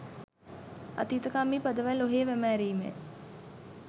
අතීතකාමී පදවැල් ඔහේ වැමෑරීමය